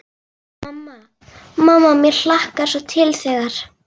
Mamma, mamma mér hlakkar svo til þegar.